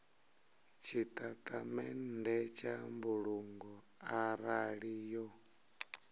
tshitatamennde tsha mbulungo arali yo